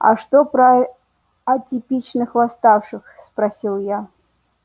а что про атипичных восставших спросил я